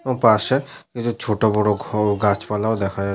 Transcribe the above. এবং পাশে কিছু ছোট বড় ঘর ও গাছপালাও দেখা যাচ -